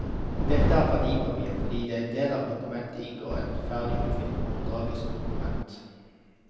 Dette er et verdipapir, fordi det i en del av dokumentet inngår et ferdig utfylt overdragelsesdokument.